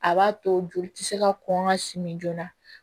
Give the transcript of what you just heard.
A b'a to joli ti se ka kɔn ka simi joona